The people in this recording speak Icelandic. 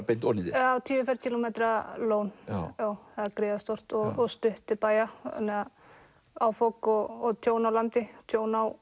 beint ofan í þér tíu ferkílómetra lón það er gríðarstórt og stutt til bæja þannig að áfok og tjón á landi tjón á